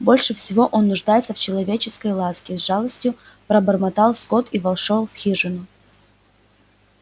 больше всего он нуждается в человеческой ласке с жалостью пробормотал скотт и вошёл в хижину